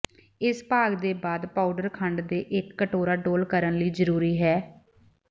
ਇਸ ਭਾਗ ਦੇ ਬਾਅਦ ਪਾਊਡਰ ਖੰਡ ਦੇ ਇੱਕ ਕਟੋਰਾ ਡੋਲ੍ਹ ਕਰਨ ਲਈ ਜ਼ਰੂਰੀ ਹੈ